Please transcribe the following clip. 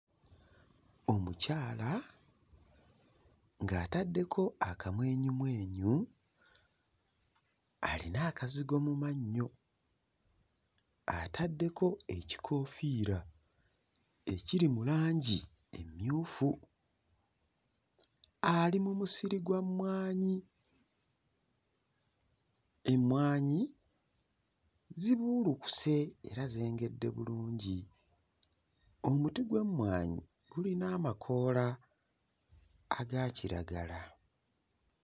Omukyala ng'ataddeko akamwenyumwenyu alina akazigo mu mannyo, ataddeko ekikoofiira ekiri mu langi emmyufu, ali mu musiri gwa mmwanyi. Emmwanyi zibuulukuse era zengedde bulungi. Omuti gw'emmwanyi gulina amakoola aga kiragala.